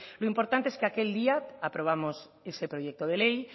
lo importante es que aquel día aprobamos ese proyecto de ley